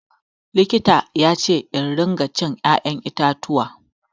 Likita yace in ringa cin ya'yan itatuwa.